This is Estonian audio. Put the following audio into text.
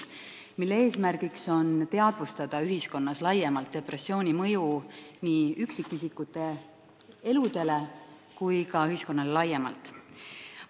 Selle eesmärk on ühiskonnas rohkem teadvustada depressiooni mõju nii üksikisikute eludele kui ka ühiskonnale laiemalt.